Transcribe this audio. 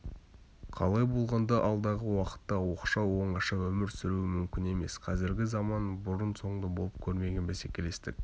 қалай болғанда алдағы уақытта оқшау оңаша өмір сүру мүмкін емес қазіргі заман бұрын-соңды болып көрмеген бәсекелестік